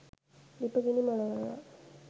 ලිප ගිනි මොලවනවා